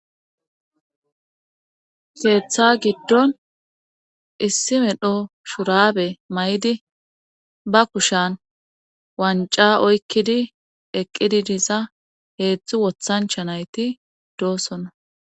Keetha giddon issi medho shurabe may7di ba kushan wanca oykkidi eqqidi diza heedzdzu wothancha nayti doosona